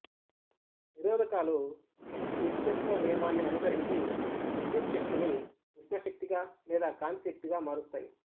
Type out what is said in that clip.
నిరోధకాలు శక్తి నిత్యత్వ నియమాన్ని అనుసరించి విద్యుచ్ఛక్తిని ఉష్ణ శక్తిగా లేదా కాంతి శక్తిగా మారుస్తాయి